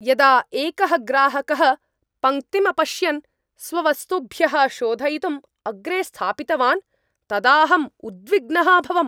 यदा एकः ग्राहकः पङ्क्तिम् अपश्यन् स्ववस्तुभ्यः शोधयितुं अग्रे स्थापितवान्, तदाहम् उद्विग्नः अभवम्।